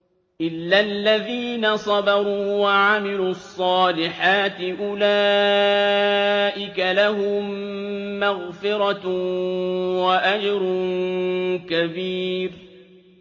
إِلَّا الَّذِينَ صَبَرُوا وَعَمِلُوا الصَّالِحَاتِ أُولَٰئِكَ لَهُم مَّغْفِرَةٌ وَأَجْرٌ كَبِيرٌ